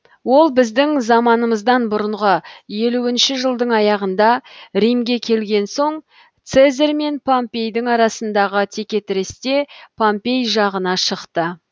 ол біздің заманымыздан бұрынғы елуінші жылдың аяғында римге келген соң цезарь мен помпейдің арасындағы текетіресте помпей жағына шықты